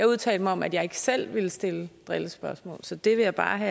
udtalt mig om at jeg ikke selv ville stille drillespørgsmål så det vil jeg bare